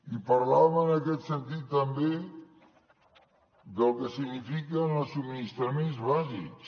i parlàvem en aquest sentit també del que signifiquen els subministraments bàsics